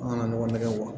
An kana ɲɔgɔn nɛgɛ